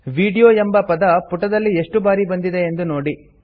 video ಎಂಬುವ ಪದ ಪುಟದಲ್ಲಿ ಏಷ್ಟು ಬಾರಿ ಬಂದಿದೆ ಎಂದು ನೋಡಿರಿ